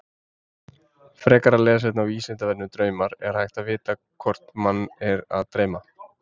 Frekara lesefni á Vísindavefnum Draumar Er hægt að vita hvort mann er að dreyma?